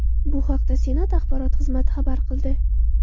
Bu haqda Senat axborot xizmati xabar qildi .